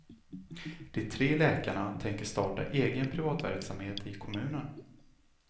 De tre läkarna tänker starta egen privatverksamhet i kommunen.